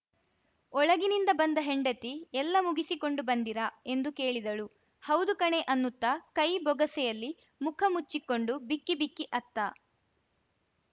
ಒಳಗಿನಿಂದ ಬಂದ ಹೆಂಡತಿ ಎಲ್ಲ ಮುಗಿಸಿ ಕೊಂಡು ಬಂದಿರಾ ಎಂದು ಕೇಳಿದಳು ಹೌದು ಕಣೆ ಅನ್ನುತ್ತ ಕೈ ಬೊಗಸೆಯಲ್ಲಿ ಮುಖ ಮುಚ್ಚಿಕೊಂಡು ಬಿಕ್ಕಿ ಬಿಕ್ಕಿ ಅತ್ತ